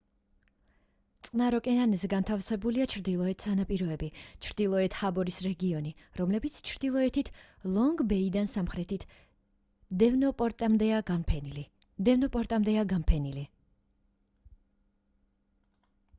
წყნარ ოკეანეზე განთავსებულია ჩრდილოეთ სანაპიროები ჩრდილოეთ ჰარბორის რეგიონი რომლებიც ჩრდილოეთით ლონგ-ბეიდან სამხრეთით დევონპორტამდეა განფენილი